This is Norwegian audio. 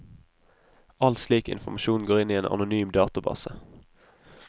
All slik informasjon går inn i en anonym database.